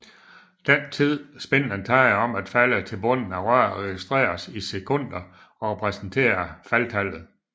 Den tid spindlen tager om at falde til bunden af røret registreres i sekunder og repræsenterer faldtallet